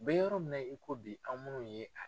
Bɛ yɔrɔ min na i ko bi anw minnu ye a